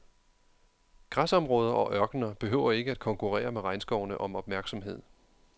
Græsområder og ørkener behøver ikke at konkurrere med regnskovene om opmærksomhed.